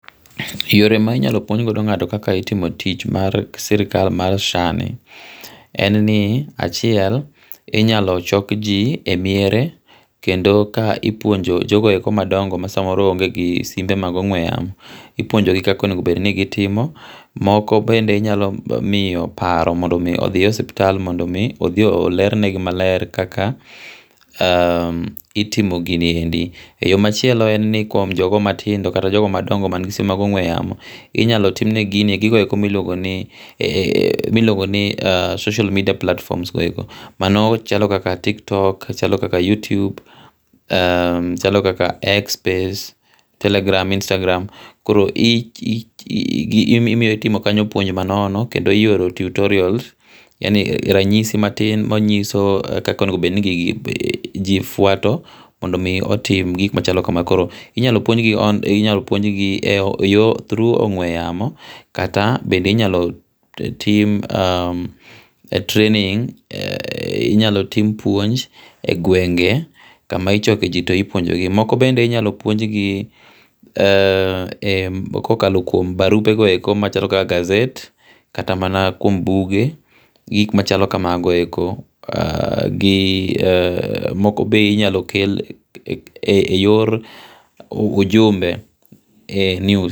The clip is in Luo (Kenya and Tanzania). Yore ma i nyalo puonj go ngato kaka itimo tich mar sirikal mar SHA ni en ni achiel i nyalo chok ji e miere kendo ka i puonjo jogo e ko ma dongo ma saa moro onge gi simbe mag ongwe yamo i puonjo gi kaka onego bed ni gi itimo moko bende i nyalo miyo paro mondo o mi odhie suptal mondo o mi odhi o ler ne gi maler kaka itimo gi ni e ndi yo ma chielo en ni kuom jogo ma tindo kata jogo madongo ma ni gi simbe mag ogwe yamo i nyalo tim ne gi gigo e ko ma i luongo ni social media platforms go e ko mano chalo kaka tiktok, chalo kaka youtube, chalo kaka x space, telegram istagram koro imiyo itimo kanyo puonj ma nono kendo i oro tutorials yani ranyisi matin ma nyiso kaka o nego bed ni gigi ji fwato mondo o mi otim gik ma chalo ka ma koro i nyalo puonj on e yo through ongwe yamo kata bende inyalo tim training inyalo tim puonj e gwenge kama i choko ji to ipwonje ji moko be inyalo pwonj gi ka okalo barupe go e ko ma chalo kaka gazet kata mana kuom buge gi gik ma chalo kamano e ko gi moko be inyalo kel e yor ujumbe news